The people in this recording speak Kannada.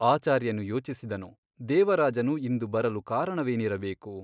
ಆಚಾರ್ಯನು ಯೋಚಿಸಿದನು ದೇವರಾಜನು ಇಂದು ಬರಲು ಕಾರಣವೇನಿರಬೇಕು?